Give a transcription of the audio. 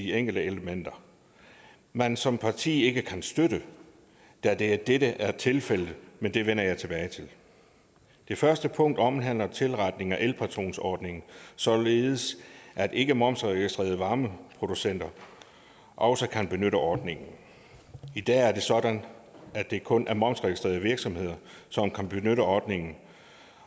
enkelte elementer man som parti ikke kan støtte da dette dette er tilfældet men det vender jeg tilbage til det første punkt omhandler en tilretning af elpatronordningen således at ikkemomsregistrerede varmeproducenter også kan benytte ordningen i dag er det sådan at det kun er momsregistrerede virksomheder som kan benytte ordningen